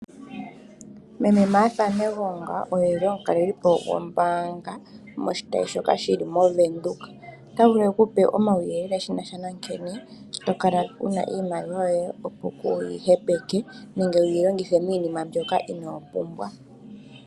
Meme Marth Negonga oye eli omukalelipo gombaanga moshitayi shoka shili moWindhoek, ota vulu ekupe omauyele nkene tokala wuna iimaliwa yoye opo kuyi hepeke nenge wuyi longithe miinima mbyoka ino pumbwa.